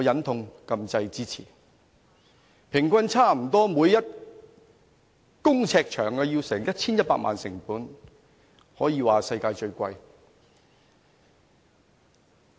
該幹線每公尺的平均成本差不多要 1,100 萬元，可說是世界最昂貴。